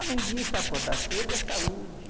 Além disso, acordar cedo é saúde.